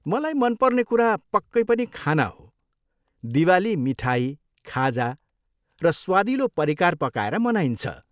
मलाई मनपर्ने कुरा, पक्कै पनि, खाना हो। दिवाली मिठाई, खाजा र स्वादिलो परिकार पकाएर मनाइन्छ।